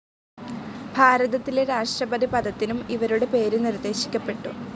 ഭാരതത്തിലെ രാഷ്ട്രപതി പദത്തിനും ഇവരുടെ പേര് നിർദ്ദേശിക്കപ്പെട്ടു.